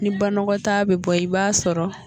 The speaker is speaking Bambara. Ni banɔgɔtaa bɛ bɔ i b'a sɔrɔ